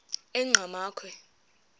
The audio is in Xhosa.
enqgamakhwe